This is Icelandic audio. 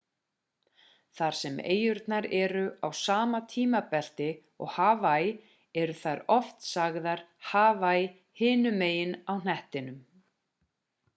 þar sem eyjurnar eru á sama tímabelti og hawaii eru þær oft sagðar hawaii hinum megin á hnettingum